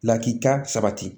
Lakika sabati